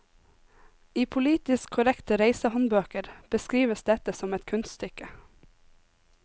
I politisk korrekte reisehåndbøker beskrives dette som et kunststykke.